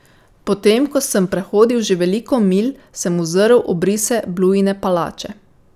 Potem ko sem prehodil že veliko milj, sem uzrl obrise Bluine palače.